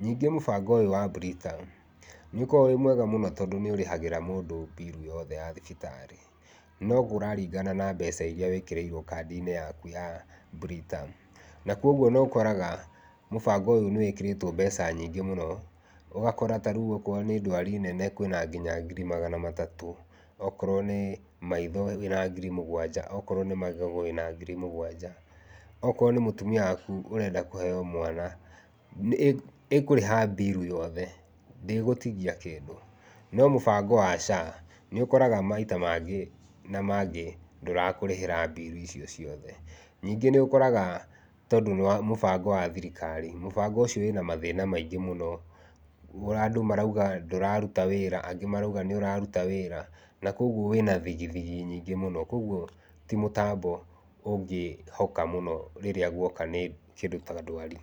Ningĩ mũbango ũyũ wa Britam nĩũkoragwo wĩ mwega mũno, tondũ nĩũrĩhagĩra mũndũ mbiru yothe ya thibitarĩ, no kũraringana na mbeca iria wĩkĩrĩirwo kandi-inĩ yaku ya Britam, na kogwo nĩũkoraga mũbango ũyũ nĩwĩkĩrĩtwo mbeca nyingĩ mũno, ũgakora ta rĩu okorwo nĩ ndwari nene kwĩna kinya ngiri magana matatũ, okorwo nĩ maitho wĩna ngiri mũgwanja, okorwo nĩ magego wĩna ngiri mũgwanja, okorwo nĩ mũtumia waku ũrenda kũheo mwana, ĩkũrĩha mbiru yothe, ndĩgũtigia kĩndũ. No mũbango wa SHA nĩũkoraga maita mangĩ na mangĩ ndũrakũrĩhĩra mbiru icio ciothe. Ningĩ nĩũkoraga tondũ nĩ mũbango wa thirikari, mũbango ũcio wĩna mathĩna maĩngĩ mũno, ona andũ marauga ndũraruta wĩra, angĩ marauga nĩũraruta wĩra na kogwo wĩna thigi thigi nyingĩ mũno, kogwo ti mũbango ũngĩhoka mũno rĩrĩa guoka nĩ kĩndũ ta ndwari.